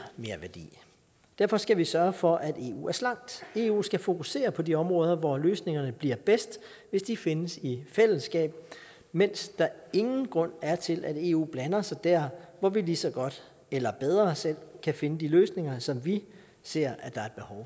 merværdi derfor skal vi sørge for at eu er slankt eu skal fokusere på de områder hvor løsningerne bliver bedst hvis de findes i fællesskab mens der ingen grund er til at eu blander sig der hvor vi lige så godt eller bedre selv kan finde de løsninger som vi ser at der